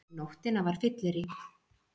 Um nóttina var fyllerí.